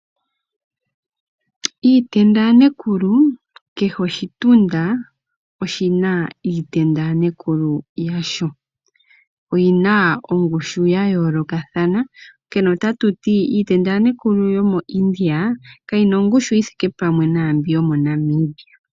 Iitenda ya nekulu kehe oshitunda oshina iitenda yanekulu yasho, oyina ongushu yayoolokathana onkene otatuti iitenda yanekulu yomo India kayina ongushu yithike pwaambi yomo Namibia.